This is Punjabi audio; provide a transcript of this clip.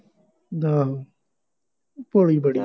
ਆਹੋ, ਭੋਲੀ ਬੜੀ ਆ